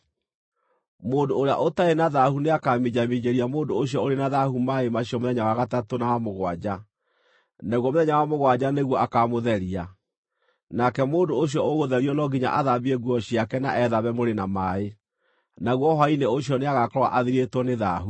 Mũndũ ũrĩa ũtarĩ na thaahu nĩakaminjaminjĩria mũndũ ũcio ũrĩ na thaahu maaĩ macio mũthenya wa gatatũ na wa mũgwanja, naguo mũthenya wa mũgwanja nĩguo akamũtheria. Nake mũndũ ũcio ũgũtherio no nginya athambie nguo ciake na ethambe mwĩrĩ na maaĩ, naguo hwaĩ-inĩ ũcio nĩagakorwo athirĩtwo nĩ thaahu.